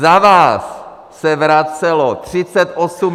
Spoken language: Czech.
Za vás se vracelo 38 miliard!